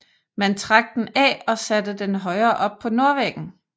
Man trak den af og satte den højere op på nordvæggen